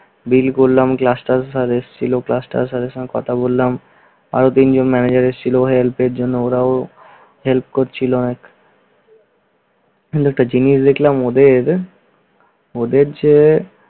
bill করলাম, গ্লাসটাস সাহেব এসেছিল, গ্লাসটাস সাহেবের সঙ্গে কথা বললাম। আরো তিনজন ম্যানেজার এসেছিল, ওদের help এর জন্য ওরাও help করছিলো। মূলত জিনিস দেখলাম ওদের ওদের চেয়ে